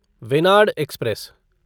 Venad express